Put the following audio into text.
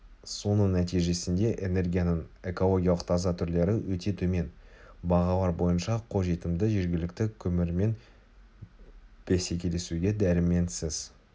соның нәтижесінде энергияның экологиялық таза түрлері өте төмен бағалар бойынша қолжетімді жергілікті көмірмен бсекелесуге дәрменсіз